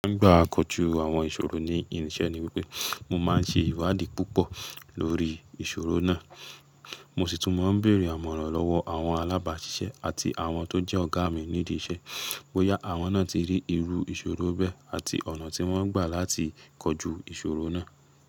Nígbà kóju àwọn ìṣòro ní irinṣẹ́ ni wípé mo máa ń ṣe ìwádìí púpọ̀ lórí ìṣòro náà. Mo sì tún máa ń bèèrè àmọ̀ràn lọ́wọ́ àwọn alábàáṣiṣẹ́ àti àwọn tó jẹ́ ọ̀gá mi ní idi iṣẹ́, bóyá àwọn náà ti rí irú ìṣòro bẹ́ àti ọ̀nà tí wọ́n gbà láti kọju ìṣòro náà.